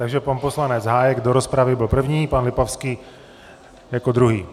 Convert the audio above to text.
Takže pan poslanec Hájek do rozpravy byl první, pan Lipavský jako druhý.